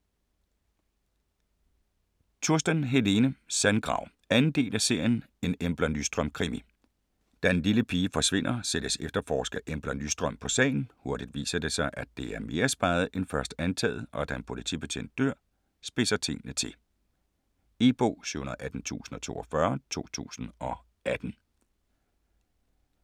Tursten, Helene: Sandgrav 2. del af serien En Embla Nyström krimi. Da en lille pige forsvinder, sættes efterforsker Embla Nyström på sagen. Hurtigt viser det sig, at det er mere speget end først antaget, og da en politibetjent dør, spidse tingene til. E-bog 718042 2018.